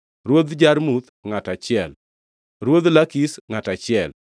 Ruodh Jarmuth, ngʼato achiel, Ruodh Lakish, ngʼato achiel,